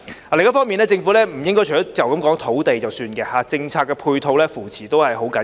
另一方面，政府不應該只談提供土地便作罷，政策配套和扶持亦十分重要。